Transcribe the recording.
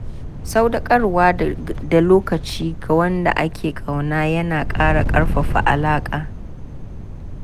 Sadaukar da lokaci ga wanda ake ƙauna yana ƙara ƙarfafa alaƙa.